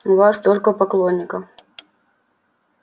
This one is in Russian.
у вас столько поклонников